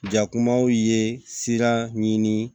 Jakumaw ye siran ɲini